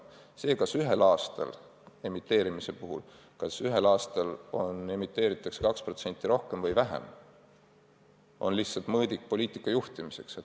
See, kas ühel aastal emiteeritakse neid 2% rohkem või vähem, on mõõdik poliitika juhtimiseks.